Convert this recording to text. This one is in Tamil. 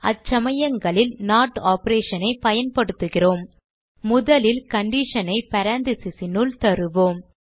அச்சமயங்களில் நோட் operation ஐ பயன்படுத்துகிறோம் முதலில் condition ஐ parentheses னுள் தருவோம்